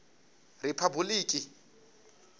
riphabuḽiki